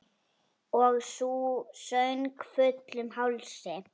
Og sú söng, fullum hálsi!